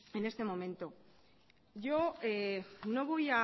en este momento yo no voy